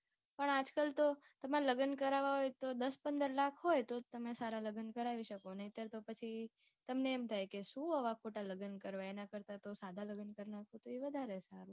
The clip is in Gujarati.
પણ આજકાલ તો તમાર લગ્ન કરાવા હોય તો દસ પંદર લાખ હોય તો તમે સારા લગ્ન કરાવી શકો નઈતર તો પછી તમને એમ થાય કે શું આવા ખોટા લગ્ન કરવા એનાં કરતાં તો સાદા વધારે સારા